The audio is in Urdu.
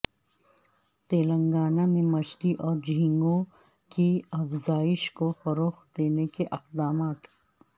تلنگانہ میں مچھلی اور جھینگوں کی افزائش کو فروغ دینے کے اقدامات